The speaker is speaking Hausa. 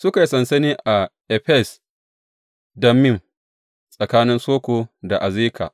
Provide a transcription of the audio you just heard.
Suka yi sansani a Efes Dammim, tsakanin Soko da Azeka.